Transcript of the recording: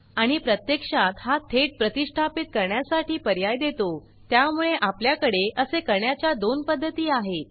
आणि प्रत्यक्षात हा थेट प्रतिष्ठापित करण्यासाठी पर्याय देतो त्यामुळे आपल्याकडे असे करण्याच्या दोन पद्धती आहेत